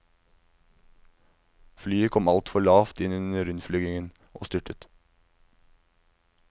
Flyet kom alt for lavt inn under innflygingen, og styrtet.